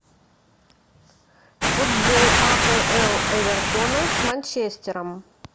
футбол апл эвертона с манчестером